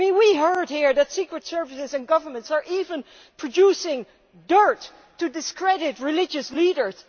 We heard here that secret services and governments are even producing dirt to discredit religious leaders.